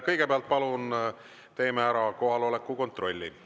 Kõigepealt palun teeme ära kohaloleku kontrolli.